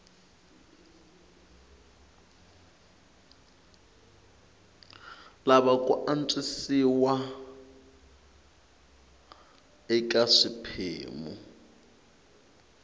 lava ku antswisiwa eka swiphemu